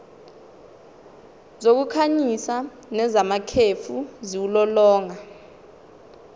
zokukhanyisa nezamakhefu ziwulolonga